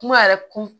Kuma yɛrɛ kun